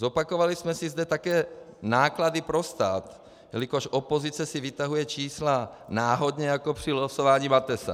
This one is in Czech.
Zopakovali jsme si zde také náklady pro stát, jelikož opozice si vytahuje čísla náhodně jako při losování Matesa.